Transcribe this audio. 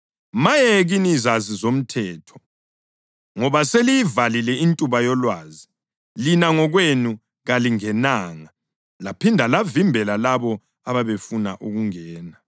Maye kini zazi zomthetho, ngoba seliyivalile intuba yolwazi. Lina ngokwenu kalingenanga, laphinda lavimbela labo abebefuna ukungena.”